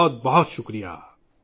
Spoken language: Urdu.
بہت شکریہ